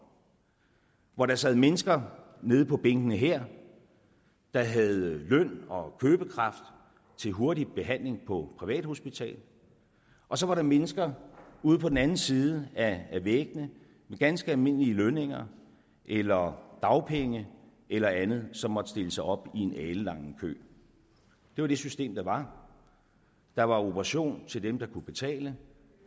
hvor der sad mennesker nede på bænkene her der havde løn og købekraft til hurtig behandling på privathospitaler og så var der mennesker ude på den anden side af væggene med ganske almindelige lønninger eller dagpenge eller andet som måtte stille sig op i en alenlang kø det var det system der var der var operation til dem der kunne betale